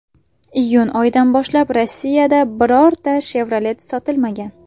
Iyun oyidan boshlab Rossiyada birorta Chevrolet sotilmagan.